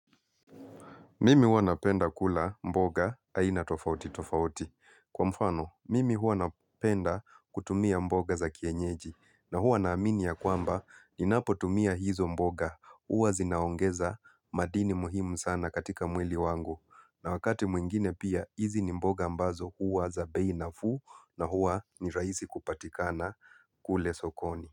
Mimi hua napenda kula mboga aina tofauti tofauti. Kwa mfano, mimi hua napenda kutumia mboga za kienyeji. Na hua na aminia kwamba ni napo tumia hizo mboga. Huwa zinaongeza madini muhimu sana katika mwili wangu. Na wakati mwingine pia, hizi ni mboga ambazo hua za bei nafuu na hua ni rahisi kupatikana kule sokoni.